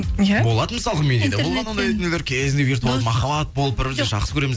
иә болады мысалға менде де болған ондай нелер кезінде виртуалды махаббат болып бір бірімізді жақсы көреміз